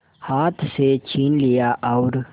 हाथ से छीन लिया और